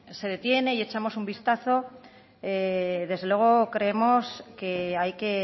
se detiene y echamos un vistazo desde luego creemos que hay que